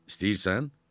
İstəyirsən?